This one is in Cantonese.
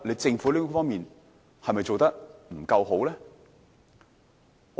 政府在這方面是否做得不夠好呢？